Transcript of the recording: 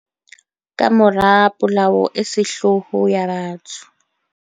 Kamora polao e sehloho ya batho